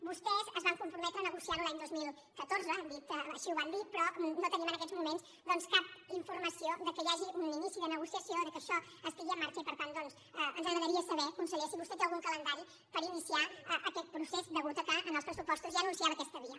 vostès es van comprometre a negociar ho l’any dos mil catorze així ho van dir però no tenim en aquests moments doncs cap informació que hi hagi un inici de negociació que això estigui en marxa i per tant ens agradaria saber conseller si vostè té algun calendari per iniciar aquest procés atès que als pressupostos ja anunciava aquesta via